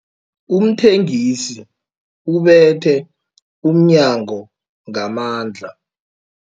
Umthengisi ubethe umnyango ngamandla.